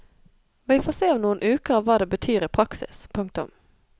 Vi får se om noen uker hva det betyr i praksis. punktum